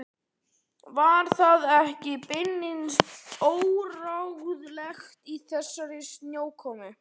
Var það ekki beinlínis óráðlegt í þessari snjókomu?